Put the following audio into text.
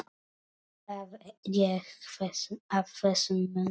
Hvað gekk að þessum mönnum?